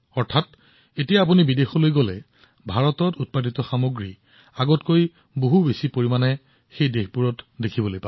অৰ্থাৎ এতিয়া যেতিয়া আপুনি আন দেশলৈ যাব তাত ভাৰতত প্ৰস্তুত কৰা সামগ্ৰীবোৰ আগৰ তুলনাত অধিক দেখিব